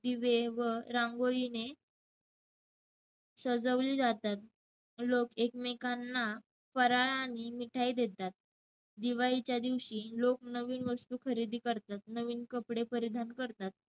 दिवे व रांगोळीने सजवली जातात. लोक एकमेकांना फराळ आणि मिठाई देतात. दिवाळीच्या दिवशी लोक नवीन वस्तू खरेदी करतात, नवीन कपडे परिधान करतात.